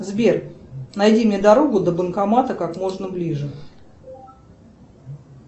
сбер найди мне дорогу до банкомата как можно ближе